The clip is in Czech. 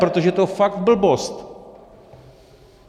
Protože je to fakt blbost!